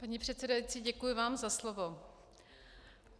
Paní předsedající, děkuji vám za slovo.